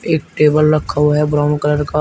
एक टेबल रखा हुआ है ब्राउन कलर का।